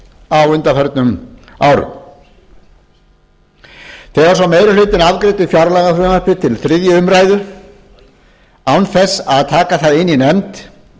á undanförnum árum þegar svo meirihlutinn afgreiddi fjárlagafrumvarpið til þriðju umræðu án þess að taka það inn í nefnd